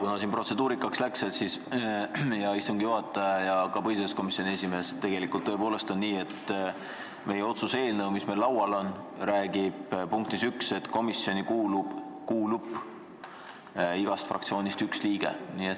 Kuna siin protseduurika arutamiseks läks, siis, hea istungi juhataja ja ka põhiseaduskomisjoni esimees, tegelikult on tõepoolest nii, et otsuse eelnõu, mis meil laual on, räägib punktis 1, et komisjoni kuulub igast fraktsioonist üks liige.